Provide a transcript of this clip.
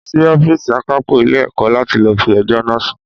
Màá lọ sí Ófììsì àkápò Ilé ẹ̀kọ́ láti lọ fi ẹjọ́ náà sun